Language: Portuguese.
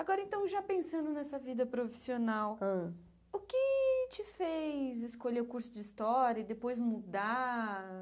Agora então, já pensando nessa vida profissional, Hã O que te fez escolher o curso de história e depois mudar?